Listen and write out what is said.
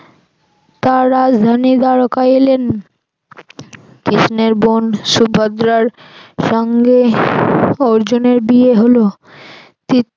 তার রাজধানী দ্বারকায় এলেন কৃষ্ণের বোন সুভদ্রার সঙ্গে অর্জুনের বিয়ে হল